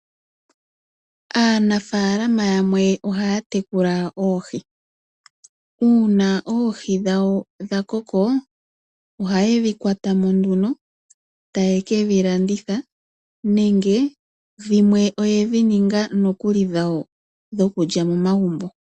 Aanafalama yamwe ohaya tekula oohi. Uuna oohi dhawo dha koko, ohaye dhi kwatamo nduno taye ke dhi landitha nenge dhimwe oye dhi ninga nokuli dhawo dho kulya moma gumbo.